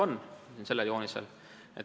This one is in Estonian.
Seda on kujutatud sellel joonisel.